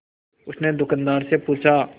उसने दुकानदार से पूछा